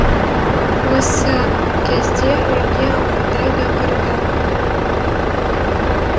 осы кезде үйге амантай да кірді